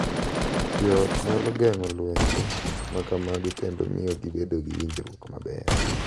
Jo ot nyalo geng’o lwenje ma kamago kendo miyo gibedo gi winjruok maber.